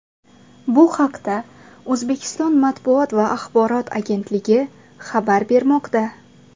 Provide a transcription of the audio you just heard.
Bu haqda O‘zbekiston matbuot va axborot agentligi xabar bermoqda .